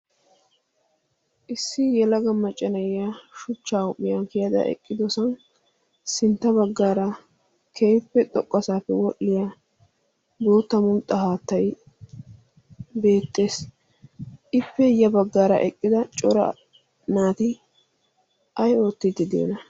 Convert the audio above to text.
issi yalaga macanayiya shuchchawuphiyaa keyada eqqidosan sintta baggaara kehiffe xoqquasaappe wodhdhiya boottamun xahaattay beettees ippe ya baggaara eqqida cora naati ay oottiddi di'ana